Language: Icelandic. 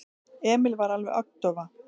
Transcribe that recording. Emil var alveg agndofa.